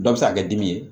Dɔ bɛ se ka kɛ dimi ye